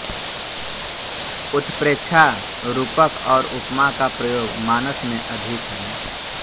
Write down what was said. उत्प्रेक्षा रूपक और उपमा का प्रयोग मानस में अधिक है